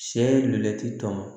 Sɛ llɛti tɔ